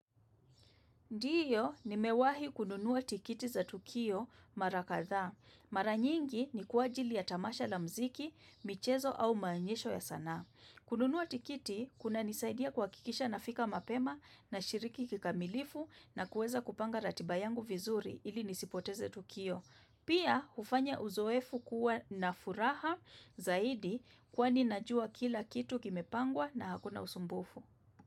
Ndiyo, nimewahi kununua tiketi za tukio mara kadhaa. Mara nyingi ni kwa ajili ya tamasha la muziki, michezo, au maonyesho ya sanaa. Kununua tiketi kunanisaidia kuhakikisha nafika mapema, nashiriki kikamilifu, na kuweza kupanga ratiba yangu vizuri ili nisipoteze tukio. Pia, hufanya uzoefu kuwa na furaha zaidi kwani najua kila kitu kimepangwa na hakuna usumbufu.